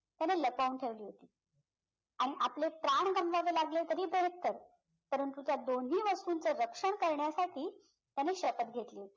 त्याने लपवून ठेवली होती आणि आपले प्राण गमवावे लागले तरी बेहत्तर परंतु त्या दोन्ही वस्तूंचे रक्षण करण्यासाठी त्याने शपथ घेतली होती